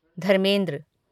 Dharmendra